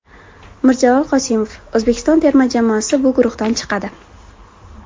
Mirjalol Qosimov: O‘zbekiston terma jamoasi bu guruhdan chiqadi.